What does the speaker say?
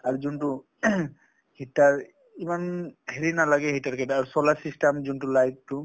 আৰু যোনটো heater ইমান হেৰি নালাগে heater কেইটা আৰু solar system যোনটো light টো